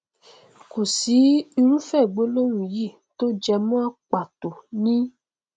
kò sí irúfẹ gbólóhùn yí tó jẹ mímọ pàtó ní